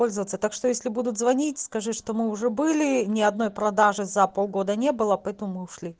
пользоваться так что если будут звонить скажи что мы уже были ни одной продажи за полгода не было поэтому мы ушли